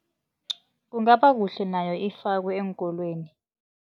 Kungaba kuhle nayo ifakwe eenkolweni.